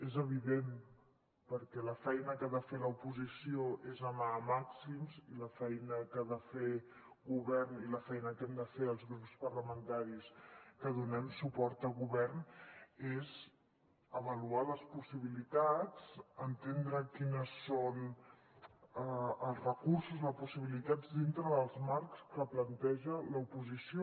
és evident perquè la feina que ha de fer l’oposició és anar a màxims i la feina que ha de fer govern i la feina que hem de fer els grups parlamentaris que donem suport a govern és avaluar les possibilitats entendre quins són els recursos les possibilitats dintre dels marcs que planteja l’oposició